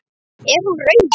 En er hún raunhæf?